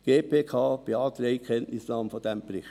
Die GPK beantragt Kenntnisnahme dieses Berichts.